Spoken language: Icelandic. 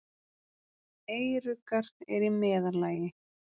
Eyruggar eru í meðallagi.